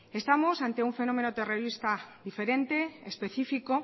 estamos ante un fenómeno terrorista diferente específico